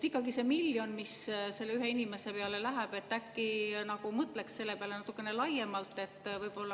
Ikkagi see miljon, mis ühe inimese peale läheb – äkki mõtleks selle peale natukene laiemalt.